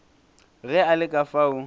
ge a le ka fao